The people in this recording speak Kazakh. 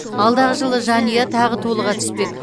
алдағы жылы жанұя тағы толыға түспек